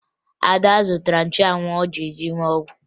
Ada zụtara nchụanwụ ọ ga-eji mee ọgwụ